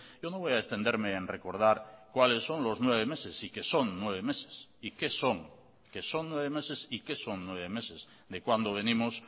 yo no voy a extenderme en recordar cuáles son los nueve meses y que son nueve meses y qué son que son nueve meses y qué son nueve meses de cuando venimos